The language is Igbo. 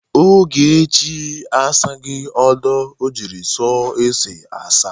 Ogechi asaghi ọdọ o jiri sọ ose asa.